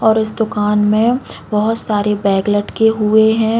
और उस दुकान में बहुत सारे बेग लटके हुए हैं।